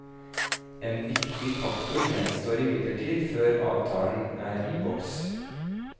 En viktig faktor gjenstår imidlertid før avtalen er i boks.